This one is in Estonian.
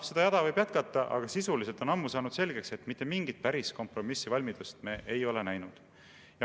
Seda jada võib jätkata, aga sisuliselt on ammu selgeks saanud, et päris kompromissivalmidust me ei ole näinud.